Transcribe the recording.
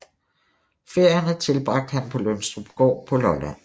Ferierne tilbragte han på Lønstrupgård på Lolland